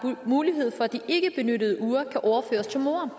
mulighed for at de ikkebenyttede uger kan overføres til moren og